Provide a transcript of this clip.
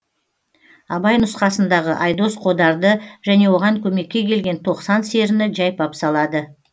абай нұсқасындағы айдос қодарды және оған көмекке келген тоқсан серіні жайпап салады